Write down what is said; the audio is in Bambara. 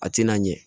A tɛna ɲɛ